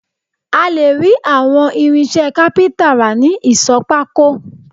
A lè rí àwọn irinṣẹ́ kápíntà rà ní ìsọ̀ pákó